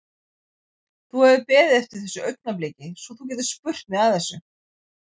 Þú hefur beðið eftir þessu augnabliki svo þú getir spurt mig að þessu?